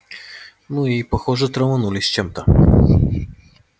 ну и похоже траванулись чем-то